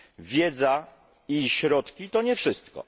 Wiedza i środki to nie wszystko.